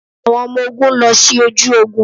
Àwọn ọmọ ogún lọ sí ojú ogún.